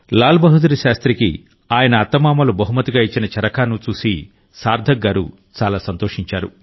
లాల్ బహదూర్ శాస్త్రికి ఆయన అత్తమామలు బహుమతిగా ఇచ్చిన చరఖాను చూసి సార్థక్ గారు చాలా సంతోషించారు